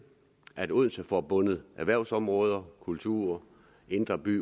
at odense får bundet erhvervsområder kultur indre by